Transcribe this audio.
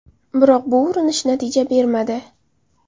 Biroq bu urinish natija bermadi.